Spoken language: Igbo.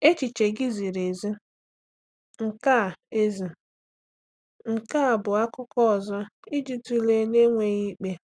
Echiche gị ziri ezi; nke a ezi; nke a bụ akụkụ ọzọ iji tụlee na-enweghị ikpe.